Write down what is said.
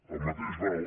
el mateix val